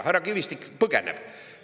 Härra Kivistik põgeneb!